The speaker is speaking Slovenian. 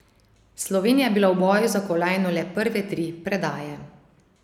Slovenija je bila v boju za kolajno le prve tri predaje.